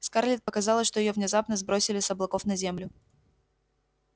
скарлетт показалось что её внезапно сбросили с облаков на землю